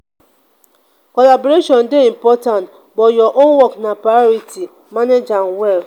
collaboration dey important but your own work na priority; manage am well.